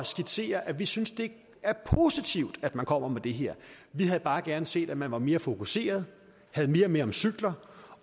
skitsere at vi synes det er positivt at man kommer med det her vi havde bare gerne set at man var mere fokuseret havde mere med om cykler